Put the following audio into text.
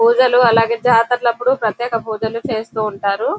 పూజలు అలాగే జాతర్లప్పుడు ప్రత్యేక పూజలు చేస్తూ ఉంటారు.